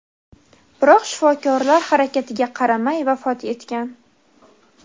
biroq shifokorlar harakatiga qaramay vafot etgan.